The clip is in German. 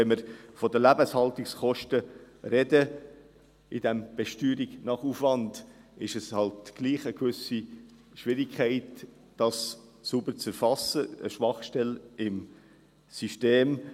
Wenn wir von den Lebenshaltungskosten bei dieser Besteuerung nach Aufwand reden, gibt es halt trotzdem eine gewisse Schwierigkeit, dies sauber zu erfassen: eine Schwachstelle im System.